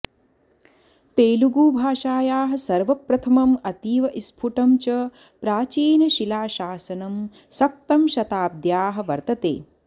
तेलुगुभाषायाः सर्वप्रथमम् अतीव स्फुटं च प्राचीनशिलाशासनं सप्तमशताब्द्याः वर्तते